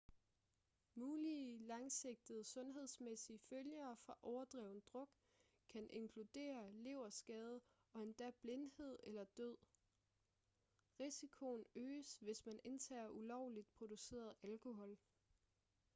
mulige langsigtede sundhedsmæssige følger fra overdreven druk kan inkludere leverskade og endda blindhed eller død risikoen øges hvis man indtager ulovligt produceret alkohol